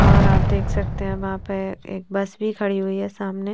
और आप देख सकते है वहां पर एक बस भी खड़ी हुई है सामने--